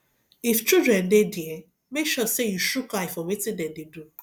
if children de there make sure say you shook eye for wetin dem de do